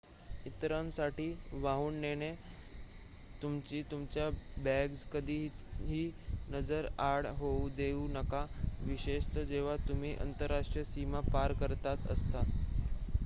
इतरांसाठी वाहून नेणे तुम्ही तुमच्या बॅग्स कधीही नजरेआड होऊ देऊ नका विशेषतः जेव्हा तुम्ही आंतरराष्ट्रीय सीमा पार करत असता